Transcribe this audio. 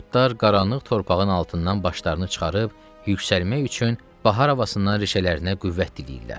Göy otlar qaranlıq torpağın altından başlarını çıxarıb yüksəlmək üçün bahar havasından rişələrinə qüvvət diləyirlər.